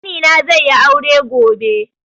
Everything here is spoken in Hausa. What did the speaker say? Ƙani na ze yi aure gobe